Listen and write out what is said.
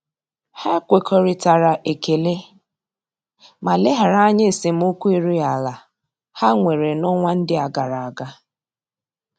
Ha ekwekoritara ekele ma leghara anya esemokwu erughi ala ha nwere na-onwa ndi agaraga.